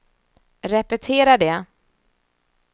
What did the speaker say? repetera det